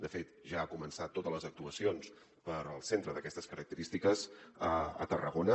de fet ja ha començat totes les actuacions el centre d’aquestes característiques a tarragona